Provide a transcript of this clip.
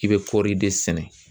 I bɛ kɔɔri de sɛnɛ